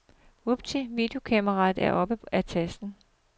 Vupti, videokameraet er oppe af tasken.